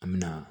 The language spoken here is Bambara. An mɛna